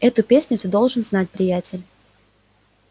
эту песню ты должен знать приятель